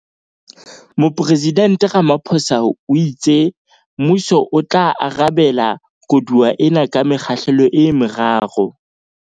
Mopresidnte Ramaphosa o itse mmuso o tla arabela koduwa ena ka mekgahlelo e meraro.